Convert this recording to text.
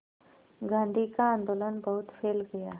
गांधी का आंदोलन बहुत फैल गया